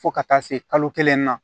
Fo ka taa se kalo kelen ma